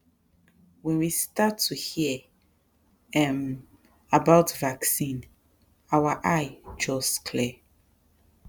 when we start to hear um about vaccine our eye just clear